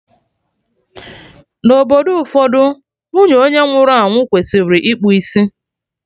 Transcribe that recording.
Na obodo ụfọdụ, nwunye onye nwụrụ anwụ kwesịrị ịkpụ isi